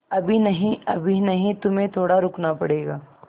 अभी नहीं अभी नहीं तुम्हें थोड़ा रुकना पड़ेगा